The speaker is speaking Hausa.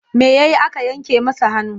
Me ya yi aka yanke masa hannu?